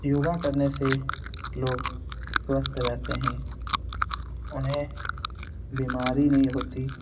योगा करने से लोग स्वस्थ रहते हैं उन्हें बीमारी नहीं होती।